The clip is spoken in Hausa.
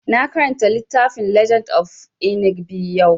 Na karanta littafin legend of Inigɓi yau